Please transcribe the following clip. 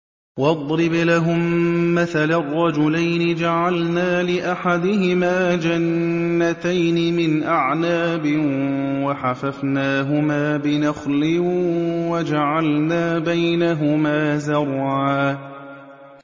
۞ وَاضْرِبْ لَهُم مَّثَلًا رَّجُلَيْنِ جَعَلْنَا لِأَحَدِهِمَا جَنَّتَيْنِ مِنْ أَعْنَابٍ وَحَفَفْنَاهُمَا بِنَخْلٍ وَجَعَلْنَا بَيْنَهُمَا زَرْعًا